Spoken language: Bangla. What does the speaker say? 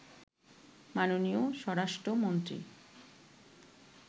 মাননীয় স্বরাষ্ট্রমন্ত্রী